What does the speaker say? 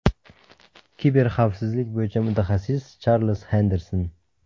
Kiberxavfsizlik bo‘yicha mutaxassis, Charlz Xenderson.